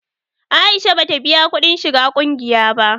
Aisha ba ta biya kuɗin shiga ƙungiya ba